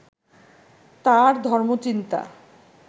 তাঁর ধর্মচিন্তা